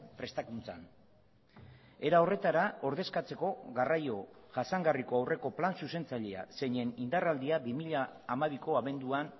prestakuntzan era horretara ordezkatzeko garraio jasangarriko aurreko plan zuzentzailea zeinen indarraldia bi mila hamabiko abenduan